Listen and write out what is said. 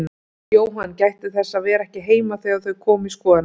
Jóhann gætti þess að vera ekki heima þegar þau komu í skoðunarferð.